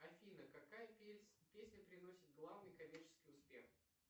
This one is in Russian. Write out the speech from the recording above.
афина какая песня приносит главный коммерческий успех